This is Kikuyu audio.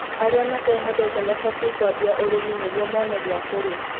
Arĩa matehotete mabatiĩ kũambia ũrĩmi niguo mone gĩakũrĩa